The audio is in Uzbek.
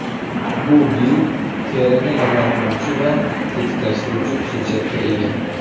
Bu gil terini namlantiruvchi va tetiklashtiruvchi xususiyatga ega.